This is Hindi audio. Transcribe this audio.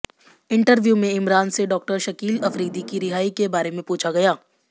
इंटरव्यू में इमरान से डॉक्टर शकील अफरीदी की रिहाई के बारे में पूछा गया